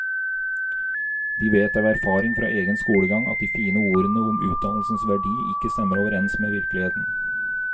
De vet av erfaring fra egen skolegang at de fine ordene om utdannelsens verdi ikke stemmer overens med virkeligheten.